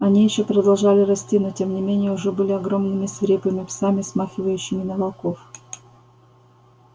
они ещё продолжали расти но тем не менее уже были огромными свирепыми псами смахивающими на волков